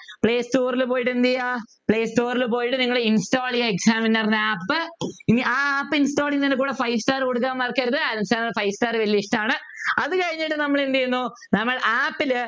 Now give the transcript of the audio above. playstore ൽ പോയിട്ട് എന്ത് ചെയ്യാ play store ൽ പോയിട്ട് നിങ്ങള് install ചെയ്യാ examiner app ഇനി ആ app install ചെയ്യുനതിൻ്റെ കൂടെ five star കൊടുക്കാൻ മറക്കരുത് അനിൽ sir നു five star വല്യ ഇഷ്ടമാണ് അത് കഴിഞ്ഞിട്ട് നമ്മൾ എന്ത് ചെയ്യുന്നു നമ്മൾ app ലു